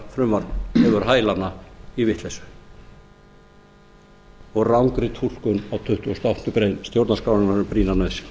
bráðabirgðafrumvarp hefur hælana í vitleysu og rangri túlkun á tuttugustu og áttundu grein stjórnarskrárinnar um brýna nauðsyn